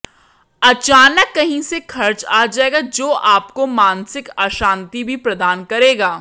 अचानक कहीं से खर्च आ जाएगा जो आपको मानसिक अशांति भी प्रदान करेगा